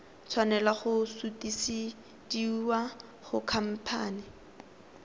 tshwanela go sutisediwa go khamphane